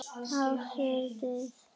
Gáfu þau þér bíl?